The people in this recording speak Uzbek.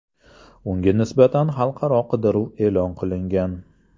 Unga nisbatan xalqaro qidiruv e’lon qilingan.